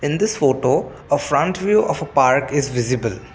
in this photo a front view of a park is visible.